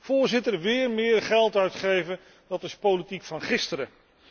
Voorzitter, wéér meer geld uitgeven, dat is politiek van gisteren.